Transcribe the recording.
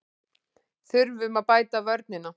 Þurfum að bæta vörnina